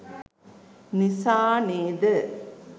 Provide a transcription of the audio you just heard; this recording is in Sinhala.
නිසා නේද?